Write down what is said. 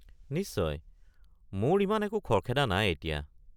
নিশ্চয়, মোৰ ইমান একো খৰখেদা নাই এতিয়া।